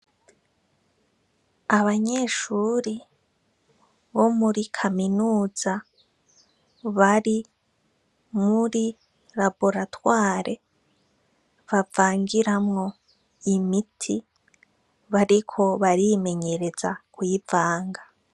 Abanyeshuri bo muri kaminuza, bari muri raboratware bavangiramwo imiti, bariko barimenyereza kuyivanga.